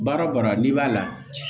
Baara o baara n'i b'a la